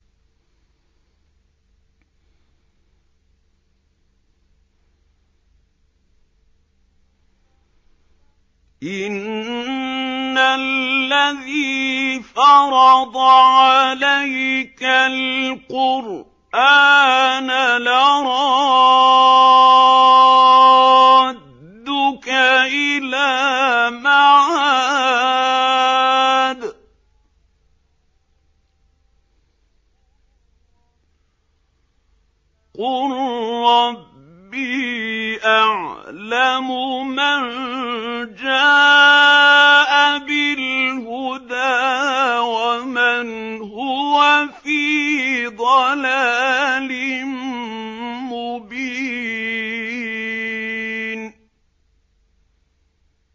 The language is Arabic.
إِنَّ الَّذِي فَرَضَ عَلَيْكَ الْقُرْآنَ لَرَادُّكَ إِلَىٰ مَعَادٍ ۚ قُل رَّبِّي أَعْلَمُ مَن جَاءَ بِالْهُدَىٰ وَمَنْ هُوَ فِي ضَلَالٍ مُّبِينٍ